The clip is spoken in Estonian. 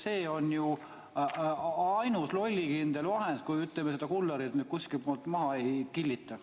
See on ju ainus lollikindel vahend, kui just kullerit kuskil pool maha ei killita.